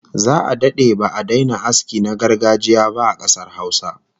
Za'a dade ba'a daina aski na gargajiya ba a kasar Hausa